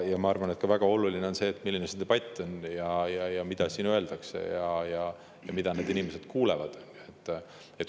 Ma arvan, et väga oluline on ka see, milline see debatt on, mida siin öeldakse ja mida need inimesed kuulevad.